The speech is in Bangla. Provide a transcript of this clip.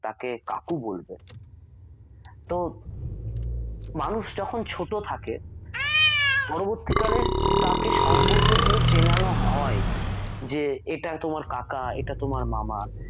তাকে কাকু বলবে তো মানুষ যখন ছোট থাকে পরবর্তীকালে তাকে সম্পর্কগুলো চেনানো হয় যে এটা তোমার কাকা এটা তোমার মামা